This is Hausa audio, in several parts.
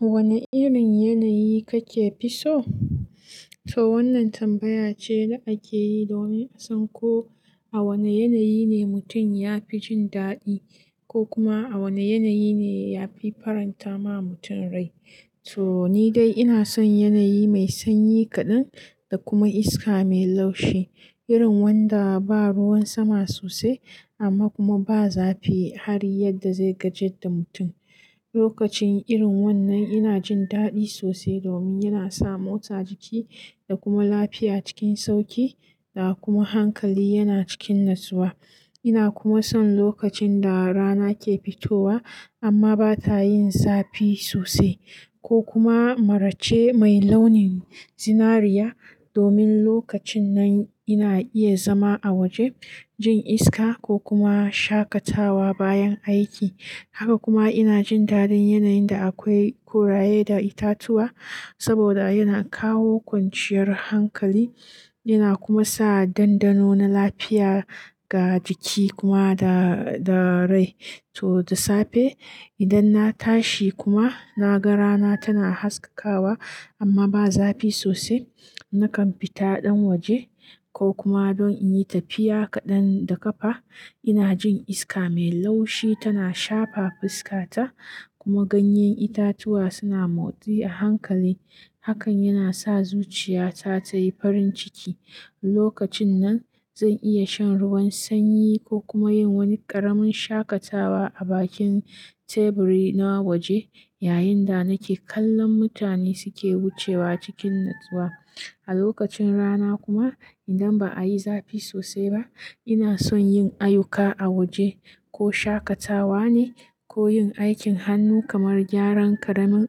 Wane irin yanayi kake fi so? To wannan tambaya ce da ake yi domin a san ko a wane yanayi ne mutum ya fi jin daɗi ko kuma a wane yanayi ne ya fi faranta ma mutum rai. To ni dai ina son yanayi mai sanyi kaɗan da kuma iska mai laushi, irin wanda ba ruwan sama sosai amma kuma ba zafi har yadda zai gajeda mutum. Lokacin irin wannan ina jin daɗi sosai domin yana sa motsa jiki da kuma lafiya cikin sauƙi da kuma hankali yana cikin natsuwa. Ina kuma son lokacin da rana ke fitowa amma ba ta yin zafi sosai ko kuma marace mai launin zinariya, domin lokacin nan ina iya zama a waje, jin iska ko kuma shakatawa bayan aiki. Haka kuma ina jin daɗin yanayin da akwai kuraye da itatuwa saboda yana kawo kwanciyar hankali yana kuma sa dandano na lafiya ga jiki kuma da rai. To da safe idan na tashi kuma na ga rana tana haskawa amma ba zafi sosai, nakan fita ɗan waje ko kuma don in yi tafiya kaɗan da ƙafa. Ina jin iska mai laushi tana shafa fuska ta kuma ganyen itatuwa suna motsi a hankali. Hakan yana sa zuciya ta tayi farin ciki. Lokacin nan zan iya shan ruwan sanyi ko kuma yin wani ƙaramin shakatawa a bakin teburi na waje yayin da nake kallon mutane suke wucewa cikin natsuwa. A lokacin rana kuma idan ba a yi zafi sosai ba, ina son yin ayuka a waje ko shakatawa ne ko yin aikin hannu kamar gyaran ƙaramin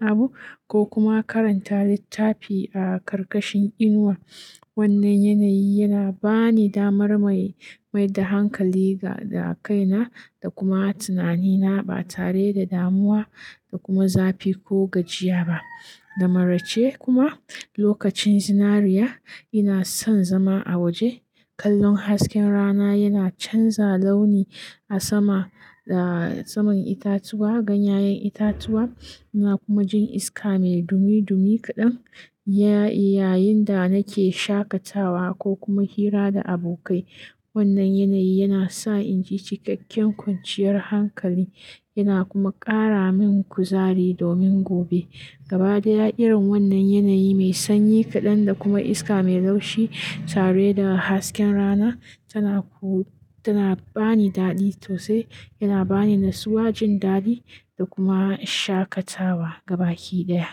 abu ko kuma karanta littafi a ƙarƙashin inuwa. Wannan yanayi yana bani damar mai da hankali ga kaina da kuma tunanina ba tare da damuwa da kuma zafi ko gajiya ba. Da maraice kuma lokacin zinariya ina son zama a waje. Kallon hasken rana yana canza launi a sama da saman itatuwa, ganyayen itatuwa ina kuma jin iska mai dumi dumi kaɗan yayin da nake shakatawa ko kuma hira da abokai. Wannan yanayi yana sa in ji cikakken kwanciyar hankali yana kuma ƙara min kuzari domin gobe. Gaba ɗaya irin wannan yanayi mai sanyi kaɗan da kuma iska mai laushi tare da hasken rana tana bani daɗi sosai, yana bani natsuwa, jin daɗi da kuma shakatawa gaba yi ɗaya.